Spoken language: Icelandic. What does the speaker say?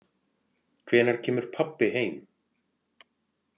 Hvenær kemur pabbi heim?